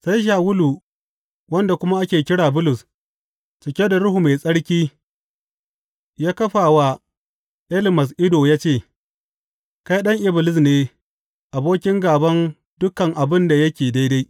Sai Shawulu, wanda kuma ake kira Bulus, cike da Ruhu Mai Tsarki, ya kafa wa Elimas ido ya ce, Kai ɗan Iblis ne abokin gāban dukan abin da yake daidai!